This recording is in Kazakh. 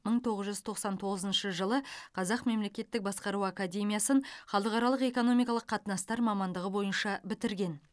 мың тоғыз жүз тоқсан тоғызыншы жылы қазақ мемлекеттік басқару академиясын халықаралық экономикалық қатынастар мамандығы бойынша бітірген